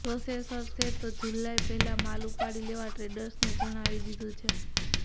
પ્રોસેસર્સે તો જુલાઈ પહેલાં માલ ઉપાડી લેવા ટ્રેડર્સને જણાવી દીધું છે